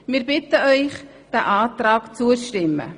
Wir bitten Sie, diesem Abänderungsantrag zuzustimmen.